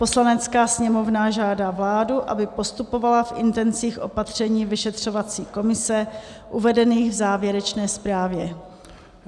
"Poslanecká sněmovna žádá vládu, aby postupovala v intencích opatření vyšetřovací komise uvedených v závěrečné zprávě."